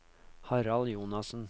Harald Jonassen